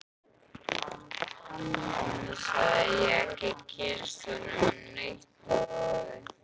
Annars hef ég ekki kynnst honum neitt að ráði.